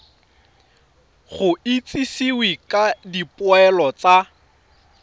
go itsisiwe ka dipoelo tsa